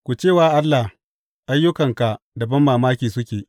Ku ce wa Allah, Ayyukanka da banmamaki suke!